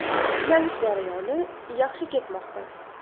Tiklanish jarayoni yaxshi ketmoqda.